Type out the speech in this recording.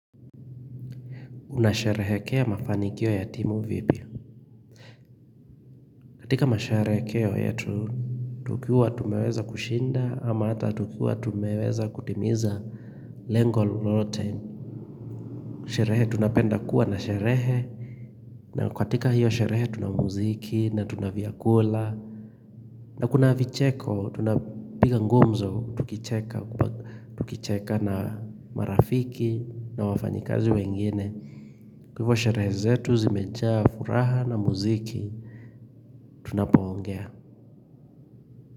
Unasherehekea mafanikio ya timu vipi? Katika masherekeo yetu tukiwa tumeweza kushinda ama hata tukiwa tumeweza kutimiza lengo lote. Sherehe tunapenda kuwa na sherehe na katika hiyo sherehe tuna muziki na tuna vyakula. Na kuna vicheko tunapiga gumzo tukicheka. Tukicheka na marafiki na wafanyikazi wengine. Kwa hivo sherehe zetu zimejaa furaha na muziki tunapo ongea.